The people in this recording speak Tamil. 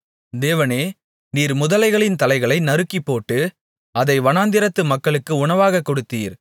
தேவனே நீர் முதலைகளின் தலைகளை நருக்கிப்போட்டு அதை வனாந்திரத்து மக்களுக்கு உணவாகக் கொடுத்தீர்